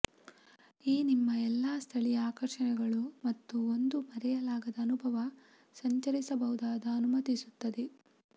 ಈ ನಿಮ್ಮ ಎಲ್ಲಾ ಸ್ಥಳೀಯ ಆಕರ್ಷಣೆಗಳು ಮತ್ತು ಒಂದು ಮರೆಯಲಾಗದ ಅನುಭವ ಸಂಚರಿಸಬಹುದಾದ ಅನುಮತಿಸುತ್ತದೆ